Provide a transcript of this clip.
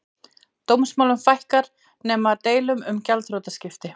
Dómsmálum fækkar nema deilum um gjaldþrotaskipti